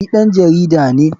Ni ɗan jarida ne.